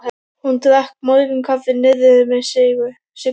Hún drakk morgunkaffi niðri við Signu.